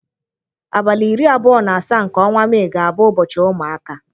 Abalị iri abụọ na asaa nke ọnwa Mee ga-abụ ụbọchị ụmụaka.